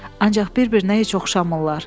Ancaq bir-birinə heç oxşamırlar.